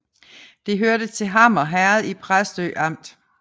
Det hørte til Hammer Herred i Præstø Amt